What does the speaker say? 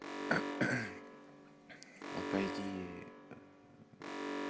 отойди ээ